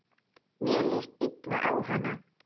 Mér líst illa á hana.